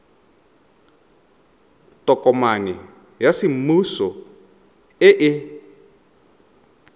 tokomane ya semmuso e e